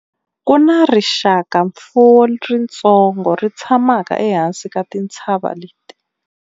ku na rixakamfuwo ritsongo ri tshamaka ehansi ka tintshava leti